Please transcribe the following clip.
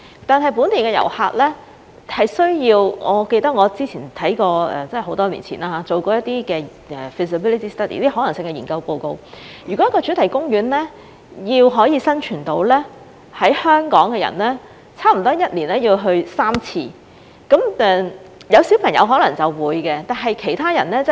但是，本地遊客是需要......我記得我之前看過很多年前做的一些 feasibility study， 如果一個主題公園要生存，在香港的人差不多1年要去3次，有小朋友的人可能會的，但其他人則未必。